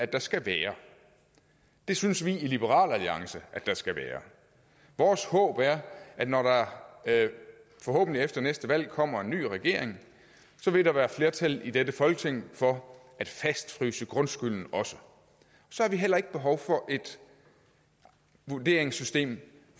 der skal være det synes vi i liberal alliance der skal være vores håb er at når der forhåbentlig efter næste valg kommer en ny regering vil der være flertal i dette folketing for at fastfryse grundskylden så har vi heller ikke behov for et vurderingssystem